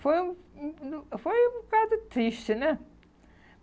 Foi um um um foi um bocado triste, né?